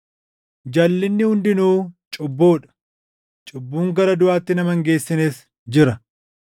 Jalʼinni hundinuu cubbuu dha; cubbuun gara duʼaatti nama hin geessines jira.